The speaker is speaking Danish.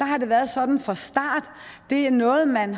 har været sådan fra starten det er noget man